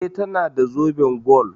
E, tana da zoben gwal.